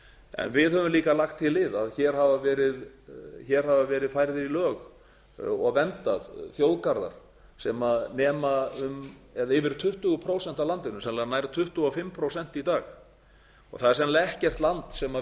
en á höfum líka lagt því lið að hér hafa verið færðir í lög og verndaðir þjóðgarðar sem nema um eða yfir tuttugu prósent af landinu sennilega nær tuttugu og fimm prósent í dag það er sennilega ekkert land sem